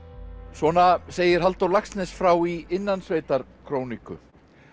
svona segir Halldór Laxness frá í Innansveitarkroniku